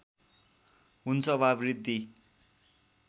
हुन्छ वा वृद्धी